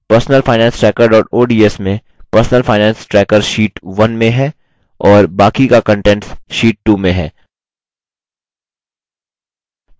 personalfinancetracker ods में personal finance tracker sheet 1 में है और बाकी का कंटेंट्स sheet 2 में है